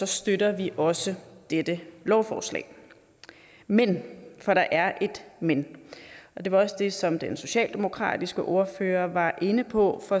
støtter vi også dette lovforslag men for der er et men og det var også det som den socialdemokratiske ordfører var inde på